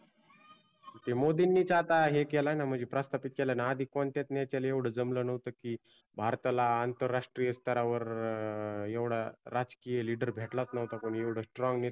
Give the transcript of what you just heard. तो मोदींनीच हे केलाय आता प्रस्थापित केलाय ना आधी कोणत्याच नेत्याला जमल नव्हतं की भारताला आंतराष्ट्रीय स्तरावर एवढा राजकीय LEADER भेटलाच नव्हता कुणी एवढं STRONG नेतृत्वयं